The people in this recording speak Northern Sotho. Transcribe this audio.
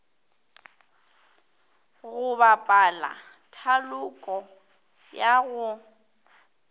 go bapala thaloko ya go